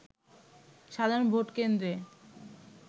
সাধারণ ভোটকেন্দ্রে